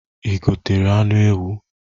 I gotere anụ ewu?